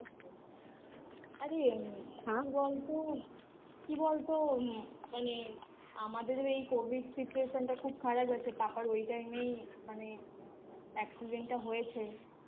আরে এমনিই কি বলতো কি বলতো মানে আমাদের এই Covid situation টা খুব খারাপ গেছে পাপার ওই Time এই মানে Accident টা হয়েছে